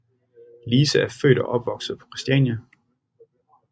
Lise er født og opvokset på Christiania